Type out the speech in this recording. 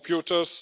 computers